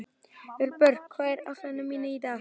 Vébjörg, hvað er á áætluninni minni í dag?